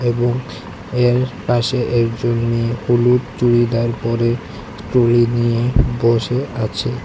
এবং এর পাশে একজন মেয়ে হলুদ চুরিদার পরে ট্রলি নিয়ে বসে আছে।